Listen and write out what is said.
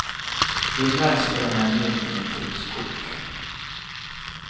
Vinnaren spelade nämligen inte med tipskort.